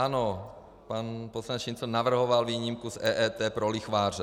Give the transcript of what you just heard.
Ano, pan poslanec Šincl navrhoval výjimku z EET pro lichváře.